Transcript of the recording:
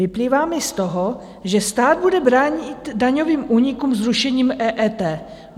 Vyplývá mi z toho, že stát bude bránit daňovým únikům zrušením EET.